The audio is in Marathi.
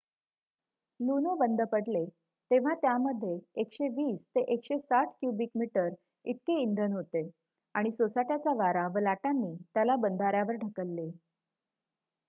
लुनो बंद पडले तेव्हा त्यामध्ये १२०-१६० क्युबिक मीटर इतके इंधन होते आणि सोसाट्याचा वारा व लाटांनी त्याला बंधाऱ्यावर ढकलले